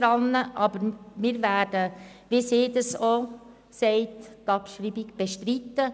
Aber wie sie dies auch sagt, werden wir die Abschreibung bestreiten.